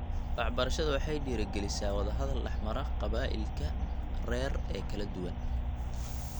Waxbarashadu waxay dhiirri-gelisaa wada-hadal dhexmara qabaa�ilka rer ee kala duwan.